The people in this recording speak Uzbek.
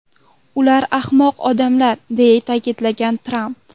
Ular ahmoq odamlar”, deya ta’kidlagan Tramp.